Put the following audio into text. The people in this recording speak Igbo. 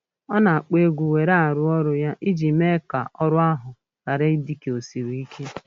Ọ na-akpọ egwu were arụ ọrụ ya iji mee ka ọrụ ahụ ghara ị dị ka o siri ike.